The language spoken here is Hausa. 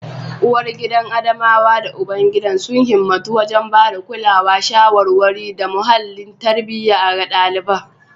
Uwargidan Adamawa da ubangidan sun himmatu wajen ba da kulawa, shawarwari, da muhallin tarbiyya ga ɗalibai.